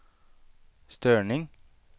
störning